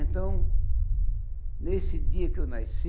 Então, nesse dia que eu nasci,